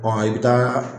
i bɛ taa